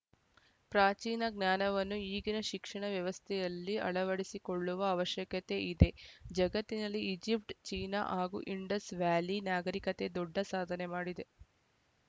ಪ್ರಾಚೀನ ಜ್ಞಾನವನ್ನು ಈಗಿನ ಶಿಕ್ಷಣ ವ್ಯವಸ್ಥೆಯಲ್ಲಿ ಅಳವಡಿಸಿಕೊಳ್ಳುವ ಅವಶ್ಯಕತೆ ಇದೆ ಜಗತ್ತಿನಲ್ಲಿ ಈಜಿಪ್ಟ್‌ ಚೀನಾ ಹಾಗೂ ಇಂಡಸ್‌ ವ್ಯಾಲಿ ನಾಗರಿಕತೆ ದೊಡ್ಡ ಸಾಧನೆ ಮಾಡಿದೆ